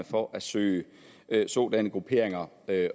for at søge sådanne grupperinger